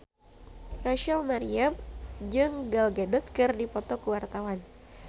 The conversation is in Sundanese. Rachel Maryam jeung Gal Gadot keur dipoto ku wartawan